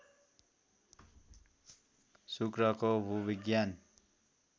शुक्रको भूविज्ञान